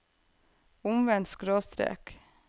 omvendt skråstrek